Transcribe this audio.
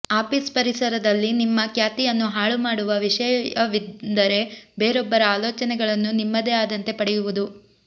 office ಪರಿಸರದಲ್ಲಿ ನಿಮ್ಮ ಖ್ಯಾತಿಯನ್ನು ಹಾಳುಮಾಡುವ ವಿಷಯವೆಂದರೆ ಬೇರೊಬ್ಬರ ಆಲೋಚನೆಗಳನ್ನು ನಿಮ್ಮದೇ ಆದಂತೆ ಪಡೆಯುವುದು